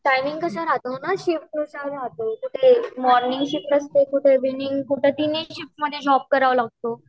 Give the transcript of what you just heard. timing कसा राहतो न शिफ्ट नुसार राहतो कधी मोर्निंग शिफ्ट असते कुठे ईविनिंग कुठी तीनही शिफ्ट मध्ये जॉब करावा लागतो